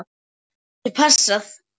Það getur passað.